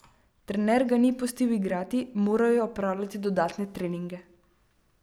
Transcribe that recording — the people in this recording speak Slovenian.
Trener ga ni pustil igrati, moral je opravljati dodatne treninge.